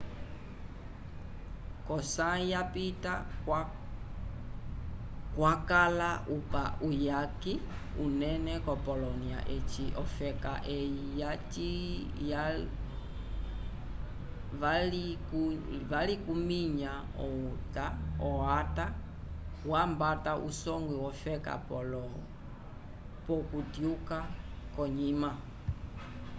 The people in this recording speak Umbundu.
ko sayi ya pita kwakala uyake unene ko polonia eci ofeka eyi valikuminya o acta wambata a songwi wofeka poloko okutyuka konyima